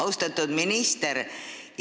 Austatud minister!